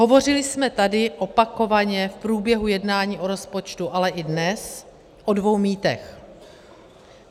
Hovořili jsme tady opakovaně v průběhu jednání o rozpočtu, ale i dnes o dvou mýtech.